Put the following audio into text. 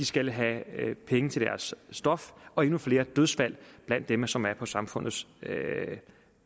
skal have penge til deres stof og endnu flere dødsfald blandt dem som er på samfundets